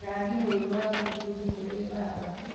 Rangi mũirũ wa mũtutu kũrĩ mbamba